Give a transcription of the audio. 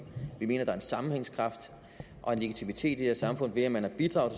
vi mener der er en sammenhængskraft og en legitimitet i et samfund ved at man har bidraget